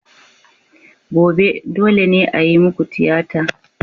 Gobe, dole ne a yi muku tiyata!